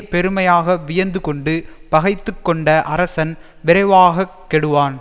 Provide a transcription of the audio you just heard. பெருமையாக வியந்து கொண்டு பகைத்து கொண்ட அரசன் விரைவாக கெடுவான்